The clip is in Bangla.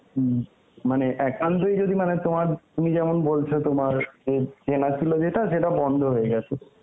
উম, মানে একান্তই যদি মানে তোমার তুমি যেমন বলছো তোমার ওই চেনা ছিল যেটা সেটা বন্ধ হয়ে গেছে